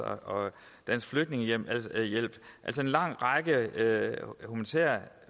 og dansk flygtningehjælp en lang række